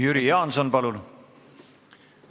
Jüri Jaanson, palun!